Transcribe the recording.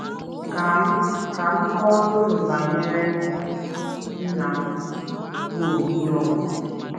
Ka m Ka m kọọrọ unu banyere nna m, bụ́ Obi Young.